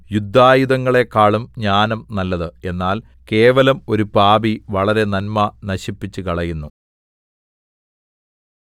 യുദ്ധായുധങ്ങളെക്കാളും ജ്ഞാനം നല്ലത് എന്നാൽ കേവലം ഒരു പാപി വളരെ നന്മ നശിപ്പിച്ചുകളയുന്നു